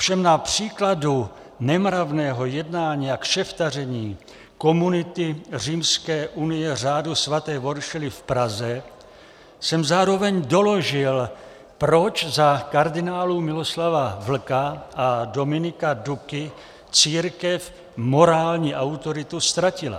Ovšem na příkladu nemravného jednání a kšeftaření komunity Římské unie řádu svaté Voršily v Praze jsem zároveň doložil, proč za kardinálů Miloslava Vlka a Dominika Duky církev morální autoritu ztratila.